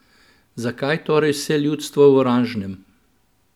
Zakaj torej vse ljudstvo v oranžnem?